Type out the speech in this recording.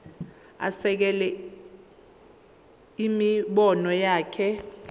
asekele imibono yakhe